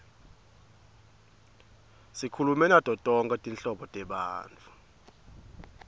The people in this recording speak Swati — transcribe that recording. sikhulume nato tonkhe tinhlobo tebantfu